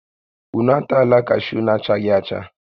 Ụnụ atala kashuu na-achaghị acha!